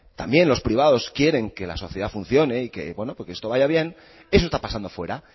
también los privados quieren que la sociedad funcioné y que esto vaya bien eso está pasando fuera